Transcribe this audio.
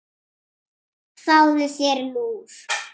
Fáðu þér lúr.